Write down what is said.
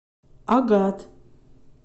агат